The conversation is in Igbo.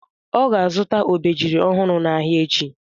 Ọ ga-azụta obejiri ọhụrụ n'ahịa echi?